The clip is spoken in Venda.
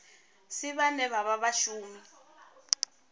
si vhane vha vha vhashumi